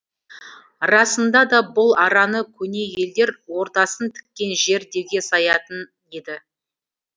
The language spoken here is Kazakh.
расында да бұл араны көне елдер ордасын тіккен жер деуге саятын еді